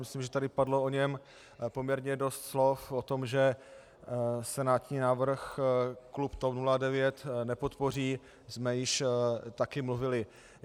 Myslím, že tady padlo o něm poměrně dost slov, o tom, že senátní návrh klub TOP 09 nepodpoří, jsme již také mluvili.